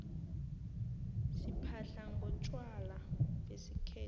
siphahla ngontjwala besikhethu